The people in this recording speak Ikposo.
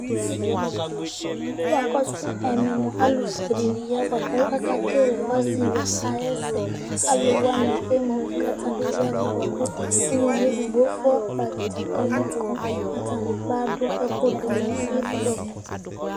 Alʋfʋe dìní ya bʋakʋ ake kele ɔsiyɔ ayʋ ɛsɛ Alu wani emli kʋ atani ya avu bʋakʋ ʋlʋvi ɛdigbo fɔ kpɔ avita kama kʋ Kʋ akɔsu ɛmɛ mʋa, alufʋe dìní ya bʋakʋ ake kele ɔsi yɔ ayʋ ɛsɛ Alu wani emli kʋ atani ya avu bʋakʋ ʋlʋvi ɛdigbo fɔ kpɔ avita kama kʋ atani adu ɛku dʋnu ifɔ